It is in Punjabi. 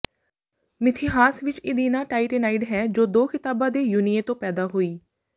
ਮਿਥਿਹਾਸ ਵਿਚ ਈਿਦਨਾ ਟਾਇਟੈਨਾਈਡ ਹੈ ਜੋ ਦੋ ਖ਼ਿਤਾਬਾਂ ਦੇ ਯੁਨੀਏ ਤੋਂ ਪੈਦਾ ਹੋਈ